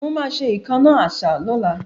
Mo máa ṣe ìkánná àṣá lọ́la